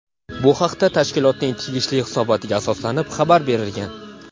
Bu haqda tashkilotning tegishli hisobotiga asoslanib xabar berilgan.